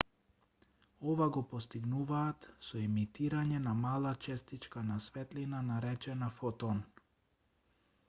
ова го постигнуваат со емитирање на мала честичка на светлина наречена фотон